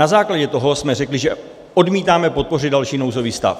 Na základě toho jsme řekli, že odmítáme podpořit další nouzový stav.